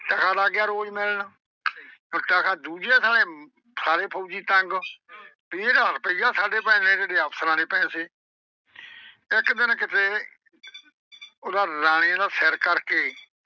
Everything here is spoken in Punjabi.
ਟਕਾ ਲੱਗ ਗਿਆ ਰੋਜ ਮਿਲਣ ਤੇ ਆ ਦੂਜੇ ਪਾਸੇ ਸਾਰੇ ਫੌਜੀ ਤੰਗ। ਵੀ ਇਹਦਾ ਰੁਪਈਆ ਸਾਡੇ ਦੇਣੇ ਅਫ਼ਸਰਾਂ ਨੇ ਪੈਸੇ ਇੱਕ ਦਿਨ ਕਿਤੇ ਉਹਦਾ ਰਾਜੇ ਦਾ ਸਿਰ ਕਰਕੇ।